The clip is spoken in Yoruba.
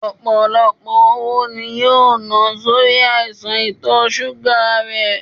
Ọpọlọpọ owó ni yoo na sori aisan itọ ṣuga rẹ